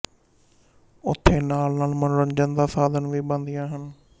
ਉੱਥੇ ਨਾਲ਼ਨਾਲ਼ ਮਨੋਰੰਜਨ ਦਾ ਸਾਧਨ ਵੀ ਬਣਦੀਆਂ ਹਨ